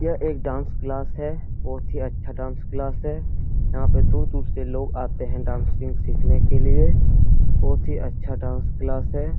यह एक dance class है बहुत ही अच्छा डांस क्लास है यहाँ पे दूर-दूर से लोग आते है डांसिंग सिखने के लिए बहुत ही अच्छा डांस क्लास है।